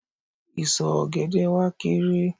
Ìsọ̀ ọ̀gẹ̀dẹ̀ wa kééré.